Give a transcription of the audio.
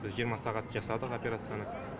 біз жиырма сағат жасадық операцияны